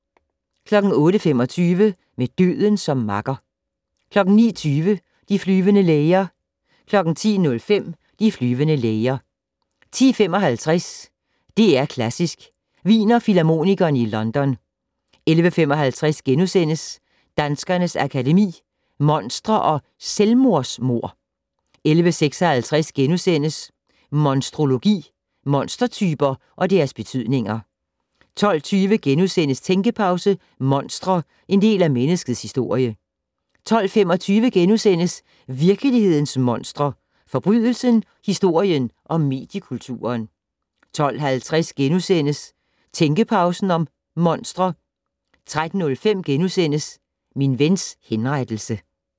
08:25: Med døden som makker 09:20: De flyvende læger 10:05: De flyvende læger 10:55: DR Klassisk: Wiener Filharmonikerne i London 11:55: Danskernes Akademi: Monstre & "Selvmordsmord" * 11:56: Monstrologi: Monstertyper og deres betydninger * 12:20: Tænkepause: Monstre - en del af menneskets historie * 12:25: Virkelighedens monstre: Forbrydelsen, historien og mediekulturen * 12:50: Tænkepause - Monstre * 13:05: Min vens henrettelse *